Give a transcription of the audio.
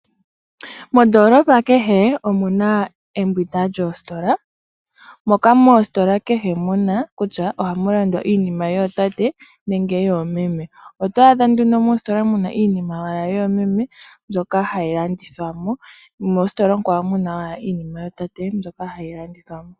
Mondoolopa kehe omu na embwinda lyoositola moka moositola kehe muna kutya ohamu landwa iinima yootate nenge yoomeme . Oto adha nduno mositola muna owala iinima yoomeme mbyoka hayi landithwa mo nomositola muna iinima yootate mbyoka hayi landithwa mo.